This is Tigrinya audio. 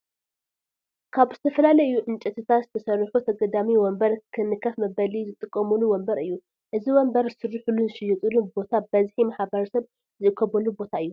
ካብ ዝተፈላለዩ ዕንጨትታት ዝተሰርሑ ተገዳሚ ወንበር ንከፍ መበሊ ዝጥቀሙሉ ወንበር እዩ ። እዚ ወንበር ዝስረሐሉን ዝሽየጠሉን ቦታ በዝሒ ማሕበረሰብ ዝእከበሉ ቦታ እዩ ።